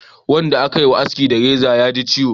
Wanda a ka ma haski da reza ya ji ciwo